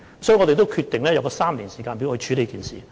所以，我們決定用這個3年時間表來處理這事。